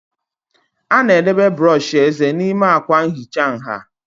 A na-edobe brọsh eze n'ime akwa nhicha nha